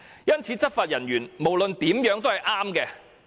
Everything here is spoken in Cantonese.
因此，內地執法人員無論如何都是對的。